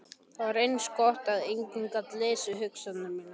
Það var eins gott að enginn gat lesið hugsanir mínar.